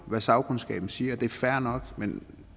hvad sagkundskaben siger og det er fair nok men